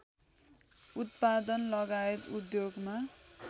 उत्पादनलगायत उद्योगमा